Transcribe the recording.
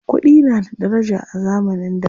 Kuɗi na da daraja a zamanin da.